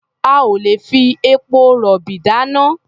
A ò lè fi epo-rọ̀bì dáná.